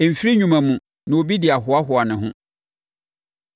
Ɛmfiri nnwuma mu, na obi de ahoahoa ne ho.